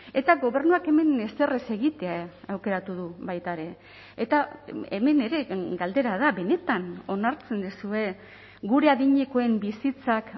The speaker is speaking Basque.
eta gobernuak hemen ezer ez egitea aukeratu du baita ere eta hemen ere galdera da benetan onartzen duzue gure adinekoen bizitzak